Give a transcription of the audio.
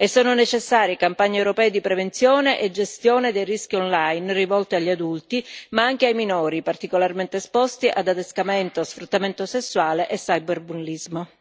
e sono necessarie campagne europee di prevenzione e gestione dei rischi online, rivolte agli adulti ma anche ai minori, particolarmente esposti ad adescamento o sfruttamento sessuale e ciberbullismo.